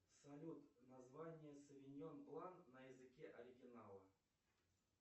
салют название совиньон блан на языке оригинала